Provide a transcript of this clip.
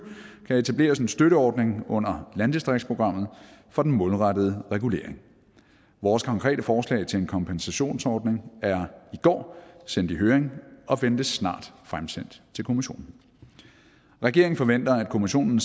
kan etableres en støtteordning under landdistriktsprogrammet for den målrettede regulering vores konkrete forslag til en kompensationsordning er i går sendt i høring og ventes snart fremsendt til kommissionen regeringen forventer at kommissionen